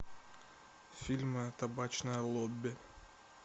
фильм табачное лобби